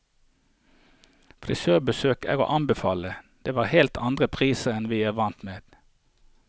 Frisørbesøk er å anbefale, det var helt andre priser enn vi er vant med.